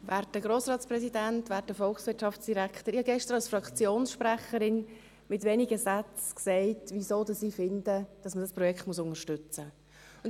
Ich habe gestern als Fraktionssprecherin mit wenigen Sätzen gesagt, weshalb ich finde, dass man dieses Projekt unterstützen muss.